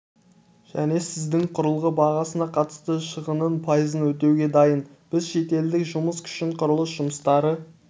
және сіздің құрылғы бағасына қатысты шығынның пайызын өтеуге дайын біз шетелдік жұмыс күшін құрылыс жұмыстары